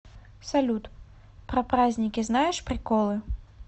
салют про праздники знаешь приколы